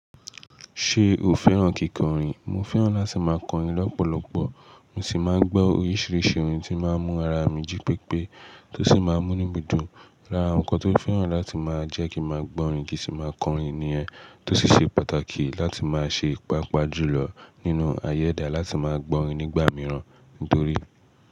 Ṣé o fẹ́ràn kíkọrin? Mo fẹ́ràn láti máa kọrin lọ́pọ̀lọpọ̀. Mo sì máa ń gbọ́ oríṣiríṣi orin tí ó máa ń mú ara mi jí pépé tó sì máa ń mú nu mi dun. Lára àwọn nǹkan tó fẹ́ràn láti máa jẹ́ kí máa gbọ́ orin kì í sì máa kọrin nìyẹn tó sì ṣe pàtàkì láti máa ṣe, pàápàá jù lọ nínú ayẹda láti máa gbọ́ orin nígbà mìíràn. Nítorí.